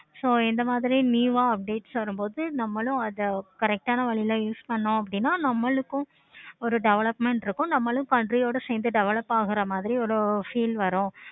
so இந்த மாதிரி new வ updates வரும் போது நம்மளும் correct ஆனா வழியிலும் use பண்ணையம் அப்படின்னா நம்மளுக்கு ஒரு development இருக்கு. நம்மளும் சேர்ந்து develop ஆகுற மாதிரி ஒரு feel வரும்.